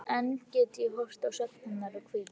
Enn get ég horft á svefn hennar og hvíld.